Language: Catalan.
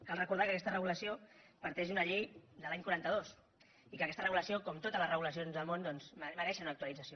cal recordar que aquesta regulació parteix d’una llei de l’any quaranta dos i que aquesta regulació com totes les regulacions del món doncs mereixen una actualització